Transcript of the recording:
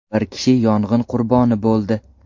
Bir kishi yong‘in qurboni bo‘ldi.